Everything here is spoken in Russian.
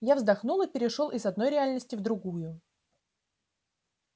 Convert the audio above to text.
я вздохнул и перешёл из одной реальности в другую